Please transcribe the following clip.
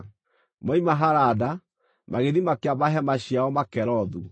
Moima Harada, magĩthiĩ makĩamba hema ciao Makelothu.